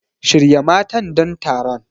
Shirya matan don taron.